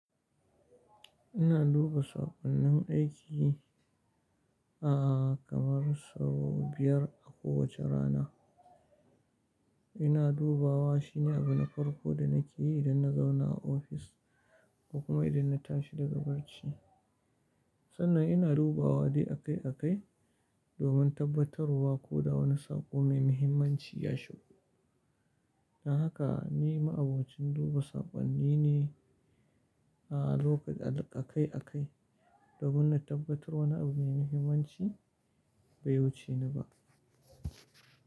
Ina duba saƙonnin aiki kamar sau biyar a kowace rana. Ina dubawa shine abu na farko da nake yi idan na zauna a ofis kuma idan na tashi daga barci. Sannan ina dubawa dai akai akai domin tabbatarwa ko da wani saƙo mai muhimmanci ya shigo. Don haka ni ma'abocin duba saƙonni ne akai akai, domin na tabbatar wani abu mai muhimmanci bai wuce ni ba.